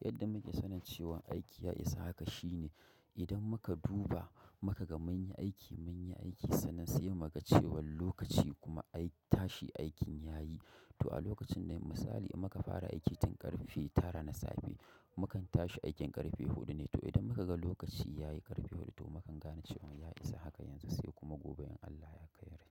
Yadda muke sanin cewa aiki ya isa haka shine idan muka duba muka ga mun yi aiki mun yi aiki sannan sai mu ga cewan lokaci kuma ai tashi aikin yayi to a lokacin dai misali muka fara aiki tun ƙarfe tara na safe mukan tashi aikin ƙarfe huɗu ne to idan muka ga lokaci yayi ƙarfe huɗu to mukan gane cewan ya isa haka yanzu sai kuma gobe in Allah ya kai rai.